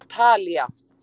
Talía